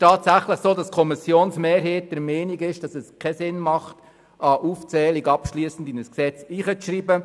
Tatsächlich ist die Kommissionsmehrheit der Meinung, dass es keinen Sinn macht, eine abschliessende Aufzählung in dieses Gesetz zu schreiben.